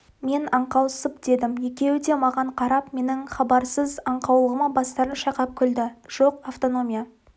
мен аңқаусып дедім екеуі де маған қарап менің хабарсыз аңқаулығыма бастарын шайқап күлді жоқ автономия